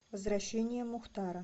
возвращение мухтара